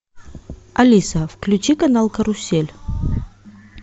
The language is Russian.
алиса включи канал карусель